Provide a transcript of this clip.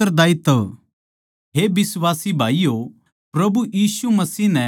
हे बिश्वासी भाईयो प्रभु यीशु मसीह नै